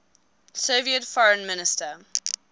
soviet foreign minister